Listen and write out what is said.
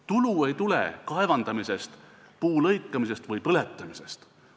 Tulu ei tule kaevandamisest, puu lõikamisest või põletamisest.